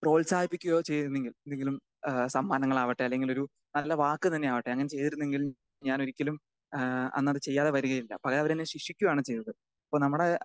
Speaker 2 പ്രോത്സാഹിപ്പിക്കുകയോ ചെയ്തിരുന്നെങ്കിൽ എന്തെങ്കിലും ഏഹ് സമ്മാനങ്ങളാകട്ടെ അല്ലെങ്കിലൊരു നല്ല വാക്ക് തന്നെ ആകട്ടെ അങ്ങനെ ചെയ്തിരുന്നെങ്കിൽ ഞാനൊരിക്കലും ആ അന്നത് ചെയ്യാതെ വരികയില്ല. പകരം അവരെന്നെ ശിക്ഷിക്കുയാണ് ചെയ്തത്. അപ്പം നമ്മുടെ